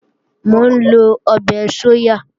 Mò ń lọ ọbẹ̀ sóyà